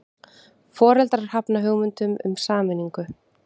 Foreldrar hafna hugmyndum um sameiningu